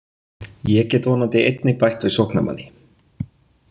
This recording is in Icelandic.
Ég get vonandi einnig bætt við sóknarmanni.